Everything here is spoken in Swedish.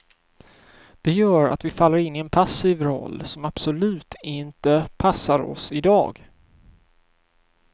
Det gör att vi faller in i en passiv roll som absolut inte passar oss i dag.